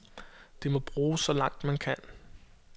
Det må bruges så langt, man kan.